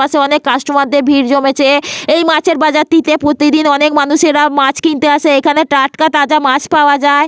পাশে অনেক কাস্টমার দের ভিড় জমেছে। এই মাছের বাজারটিতে প্রতিদিন অনেক মানুষেরা মাছ কিনতে আসে। এখানে টাটকা তাজা মাছ পাওয়া যায়।